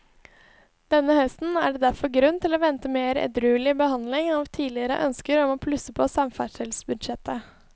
Denne høsten er det derfor grunn til å vente mer edruelig behandling av tidligere ønsker om å plusse på samferdselsbudsjettet.